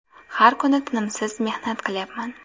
Har kuni tinimsiz mehnat qilyapman.